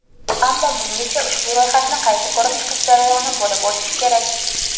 ammo bungacha ushbu ro‘yxatni qayta ko‘rib chiqish jarayoni bo‘lib o‘tishi kerak.